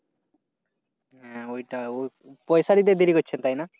হ্যাঁ ওইটা ওই, পয়সা দিতে দেরি হচ্ছে তাই না?